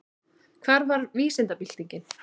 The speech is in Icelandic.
Hvað var vísindabyltingin?